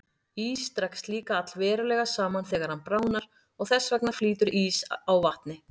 Ís dregst líka allverulega saman þegar hann bráðnar og þess vegna flýtur ís á vatni.